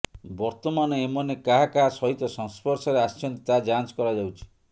ବର୍ତମାନ ଏମନେ କାହା କାହା ସହିତ ସଂସ୍ପର୍ଶରେ ଆସିଛନ୍ତି ତାହା ଯାଞ୍ଚ କରାଯାଉଛି